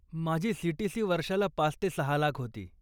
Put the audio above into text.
माझी सीटीसी वर्षाला पाच ते सहा लाख होती.